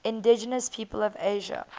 indigenous peoples of asia